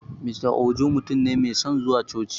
Mr Ojo mutun ne mai son zuwa coci